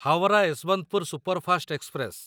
Howrah Yesvantpur superfast express